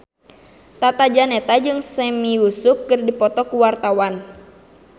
Tata Janeta jeung Sami Yusuf keur dipoto ku wartawan